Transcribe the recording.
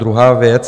Druhá věc.